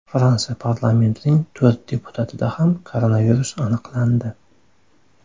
Fransiya parlamentining to‘rt deputatida ham koronavirus aniqlandi .